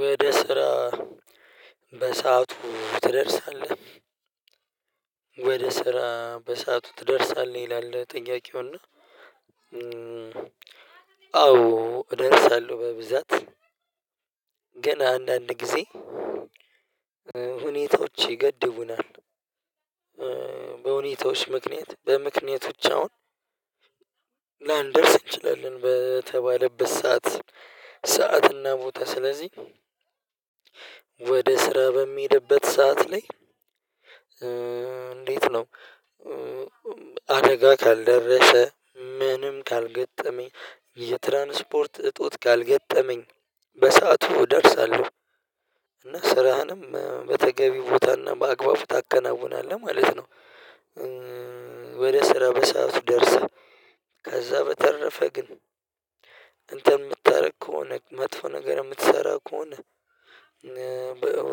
ወደ ስራ በሰአቱ ትደርሳለህ? ወደ ስራ በሰአቱ ትደርሳለህ ይላል ጥያቄው። እና አዎ እደርሳለሁ በብዛት ግን አንዳንድ ጊዜ ሁኔታዎች ይገድቡናል። በሁኔታዎች ምክንያት በምክንያቶች አሁን ላንደርስ እንችላለን በተባለበት ሰዓት ሰዓት እና ቦታ ስለዚህ ወደ ስራ በምሄድበት ሰዓት ላይ። እንዴት ነው? አደጋ ካልደረሰ ምንም ካልገጠመኝ የትራንስፖርት እጦት ካልገጠመኝ በሰአቱ እደርሳለሁ። እና ስራህንም በተገቢ ቦታ እና በአግባቡ ታከናውናለህ ማለት ነው። ወደ ስራ በሰአቱ ደርሰህ ከዛ በተረፈ ግን እንትን የምታደርግ ከሆነ መጥፎ ነገር የምትሰራ ከሆነ።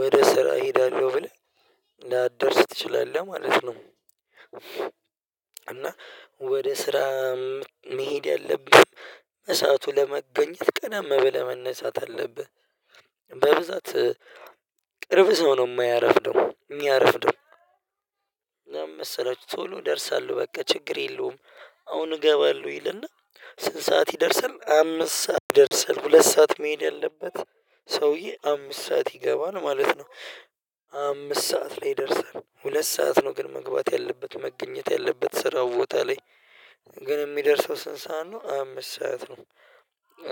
ወደ ስራ እሄዳለሁ ብለህ ላደርስ ትችላለህ ማለት ነው። እና ወደ ስራ መሄድ ያለብኝ በሰአቱ ለመገኘት ቀደም ብለህ መነሳት አለብህ። በብዛት ቅርብ ሰው ነው የማያረፍደው የሚያረፍደው እና ምን መሰላችሁ? ቶሎ እደርሳለሁ በቃ ችግር የለውም። አሁን እገባለሁ ይልና ስንት ሰዓት ይደርሳል አምስት ሰዓት ይደርሳል። ሁለት ሰዓት መሄድ ያለበት ሰውዬ አምስት ሰዓት ይገባል ማለት ነው። አምስት ሰዓት ላይ ይደርሳል ሁለት ሰዓት ነው ግን መግባት ያለበት መገኘት ያለበት ስራው ቦታ ላይ። ግን የሚደርሰው ስንት ሰዓት ነው? አምስት ሰዓት ነው።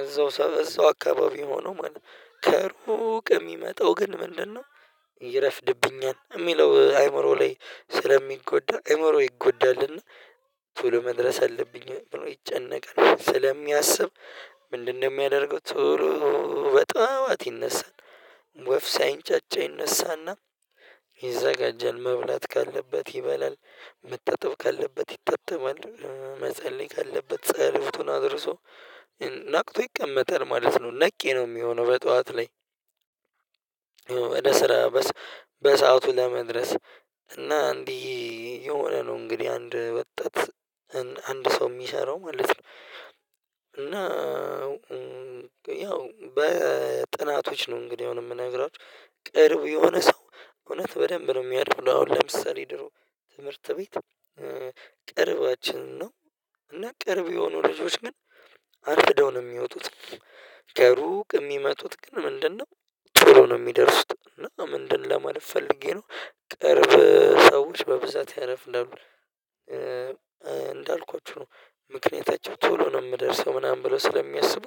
እዛው ሰፈር እዛው አካባቢ ሆኖ ማለት ነው ከሩቅ የሚመጣው ግን ምንድነው? ይረፍድብኛል የሚለው አዕምሮው ላይ ስለሚጎዳ አእምሮ ይጎዳልና። ቶሎ መድረስ አለብኝ ብሎ ይጨነቃል ስለሚያስብ። ምንድነው የሚያደርገው? ቶሎ በጠዋት ይነሳል ወፍ ሳይንጫጫ ይነሳና ይዘጋጃል መብላት ካለበት ይበላል። መታጠብ ካለበት ይታጠባል መጸለይ ካለበት ጸሎቱን አድርሶ ነቅቶ ይቀመጣል ማለት ነው ነቄ ነው የሚሆነው በጠዋት ላይ። ወደ ስራ በሰአቱ ለመድረስ እና እንዲህ የሆነ ነው እንግዲህ አንድ ወጣት። አንድ ሰው የሚሰራው ማለት ነው። እና ያው በጥናቶች ነው እንግዲህ አሁን የምነግራችሁ ቅርብ የሆነ ሰው እውነት በደንብ ነው የሚያረፍደው። አሁን ለምሳሌ ድሮ ትምህርት ቤት ቅርባችን ነው። እና ቅርብ የሆኑ ልጆች ግን አርፍደው ነው የሚወጡት። ከሩቅ የሚመጡት ግን ምንድን ነው? ቶሎ ነው የሚደርሱት እና ምንድን ለማለት ፈልጌ ነው። ቅርብ ሰዎች በብዛት ያረፍዳሉ። እንዳልኳችሁ ነው ምክንያታቸው ቶሎ ነው የምደርሰው ምናምን ብለው ስለሚያስቡ።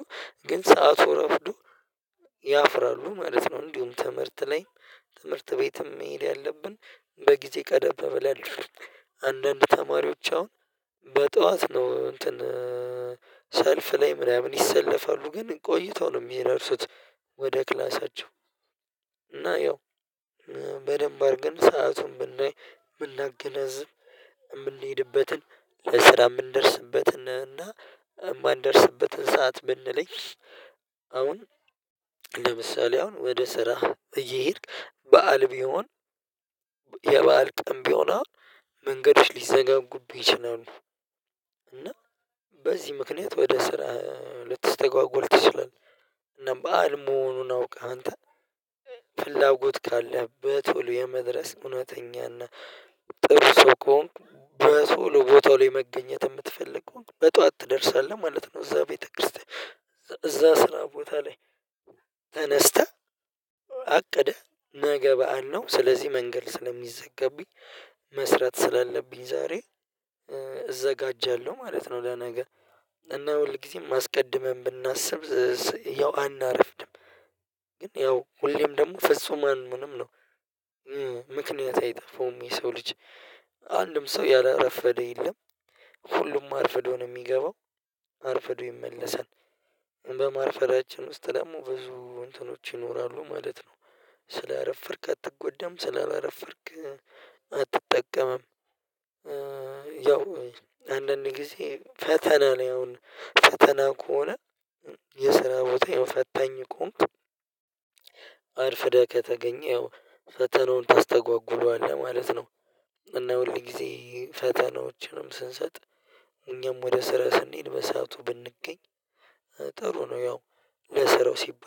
ግን ሰዓቱ ረፍዶ ያፍራሉ ማለት ነው። እንዲሁም ትምህርት ላይ ትምህርት ቤትም መሄድ ያለብን በጊዜ ቀደበ በላይ። አንዳንድ ተማሪዎች አሁን በጠዋት ነው እንትን ሰልፍ ላይ ምናምን ይሰለፋሉ ግን ቆይተው ነው የሚደርሱት። ወደ ክላሳቸው እና ያው በደንብ አድርገን ሰአቱን ብናገናዝብ የምንሄድበትን ለስራ የምንደርስበትን እና የማንደርስበትን ሰዓት ብንለይ። አሁን ለምሳሌ አሁን ወደ ስራ እየሄድክ በዓል ቢሆን። የበአል ቀን ቢሆን አሁን መንገዶች ሊዘጋጉብህ ይችላሉ። እና በዚህ ምክንያት ወደ ስራ ልትስተጓጎል ትችላለህ። እና በዓል መሆኑን አውቀህ አንተ ፍላጎት ካለህ በቶሎ የመድረስ እውነተኛ እና ጥሩ ሰው ከሆንክ። በቶሎ ቦታው ላይ መገኘት የምትፈልገው በጠዋት ትደርሳለህ ማለት ነው። እዛ ቤተክርስቲያን እዛ ስራ ቦታ ላይ። ተነስተህ አቅደህ ነገ በዓል ነው ስለዚህ መንገድ ስለሚዘጋብኝ መስራት ስላለብኝ ዛሬ እዘጋጃለሁ ማለት ነው። ለነገ እና ሁል ጊዜም አስቀድመን ብናስብ ያው አናረፍደም። ግን ያው ሁሌም ደግሞ ፍጹም አንሆንም ነው። ምክንያት አይጠፋውም የሰው ልጅ አንድም ሰው ያላረፈደ የለም። ሁሉም አርፍዶ ነው የሚገባው። አርፍዶ ይመለሳል። በማርፈዳችን ውስጥ ደግሞ ብዙ እንትኖች ይኖራሉ ማለት ነው። ስላረፈድክ አትጎዳም ስላላረፈድክ አትጠቀምም። ያው አንዳንድ ጊዜ ፈተና ነው። ያው ፈተና ከሆነ። የስራው ቦታዬም ፈታኝ ከሆንኩ አርፍደህ ከተገኘህ ፈተናውን ታስተጓጉለዋልህ ማለት ነው። እና ሁል ጊዜ ፈተናዎችንም ስንሰጥ እኛም ወደ ስራ ስንሄድ በሰአቱ ብንገኝ ጥሩ ነው። ያው ለስራው ሲባል